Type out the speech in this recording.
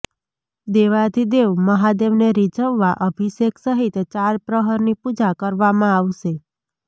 દેવાધિદેવ મહાદેવને રીઝવવા અભિષેક સહિત ચાર પ્રહરની પૂજા કરવામાં આવશે